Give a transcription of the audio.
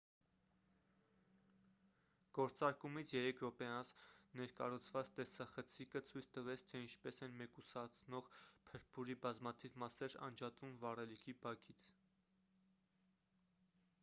գործարկումից 3 րոպե անց ներկառուցված տեսախցիկը ցույց տվեց թե ինչպես են մեկուսացնող փրփուրի բազմաթիվ մասեր անջատվում վառելիքի բաքից